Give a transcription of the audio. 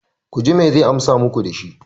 ku ji me zai amsa muku da shi?